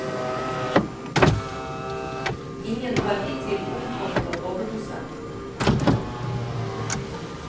Ingen har hittil omkommet av overdose.